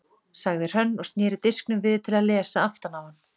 sagði Hrönn og sneri disknum við til að lesa aftan á hann.